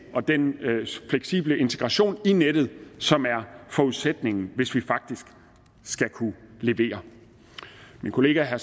og den fleksible integration i nettet som er forudsætningen hvis vi faktisk skal kunne levere min kollega herre